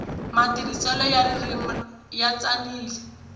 matirhiselo ya ririmi ya tsanile